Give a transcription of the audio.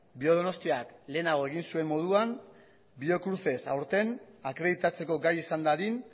biodonostiak lehenago egin zuen moduan biocruces aurten akreditatzeko gai izan dadin